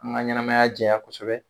An ka ɲɛnamaya diyaya kosɛbɛ